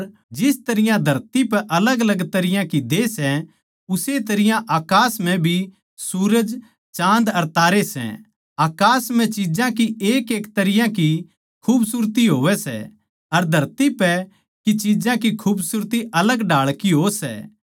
अर जिस तरियां धरती पै अलगअलग तरियां की देह सै उस्से तरियां अकास म्ह भी सूरज चाँद अर तारे सै अकास म्ह चिज्जां की एक अलग तरियां की खूबसूरती हो सै अर धरती पै की चिज्जां की खूबसूरती अलग ढाळ की हो सै